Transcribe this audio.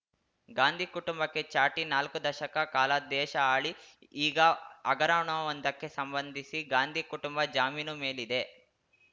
ಗಾಂಧಿ ಕುಟುಂಬಕ್ಕೆ ಚಾಟಿ ನಾಲ್ಕು ದಶಕ ಕಾಲ ದೇಶ ಆಳಿ ಈಗ ಹಗರಣವೊಂದಕ್ಕೆ ಸಂಬಂಧಿಸಿ ಗಾಂಧಿ ಕುಟುಂಬ ಜಾಮೀನು ಮೇಲಿದೆ